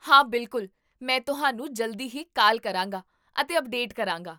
ਹਾਂ, ਬਿਲਕੁਲ, ਮੈਂ ਤੁਹਾਨੂੰ ਜਲਦੀ ਹੀ ਕਾਲ ਕਰਾਂਗਾ ਅਤੇ ਅਪਡੇਟ ਕਰਾਂਗਾ